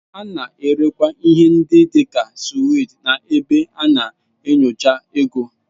A na-erekwa ihe ndị dị ka sweets n'ebe a na-enyocha ego.